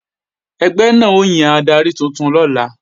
Ẹgbẹ́ náà ó yan adarí tuntun lọ́la